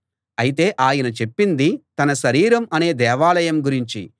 అయితే ఆయన చెప్పింది తన శరీరం అనే దేవాలయం గురించి